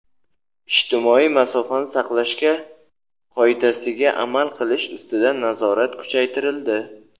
ijtimoiy masofani saqlashga qoidasiga amal qilish ustidan nazorat kuchaytirildi.